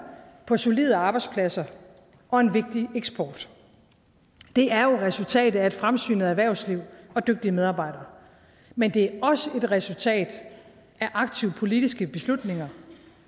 på solide arbejdspladser og en vigtig eksport det er jo resultatet af et fremsynet erhvervsliv og dygtige medarbejdere men det er også et resultat af aktive politiske beslutninger